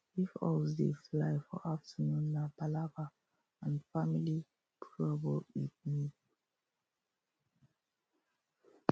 if owls dey fly for afternoon nah palava an family trouble e mean